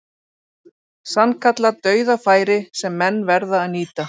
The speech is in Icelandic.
Sannkallað dauðafæri sem menn verða að nýta.